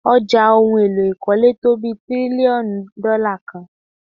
Ọjà ohun èlò ìkọ́lé tó bí tírílíọ̀nù dọ́là kan.